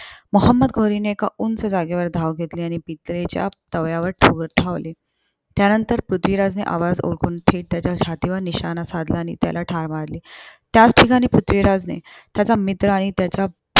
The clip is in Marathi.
मोहोम्मद घोरीने एका उंच जागेवर धाव घेतली आणि पितळेच्याच्या तव्यावर त्या नंतर पृथ्वीराजने आवाज ओळखून थेट त्याच्या छातीवर निशाणा साधला आणि त्याला ठार मारले. त्याच ठिकाणी पृथ्वीराजने त्याचा मित्र आणि त्याचा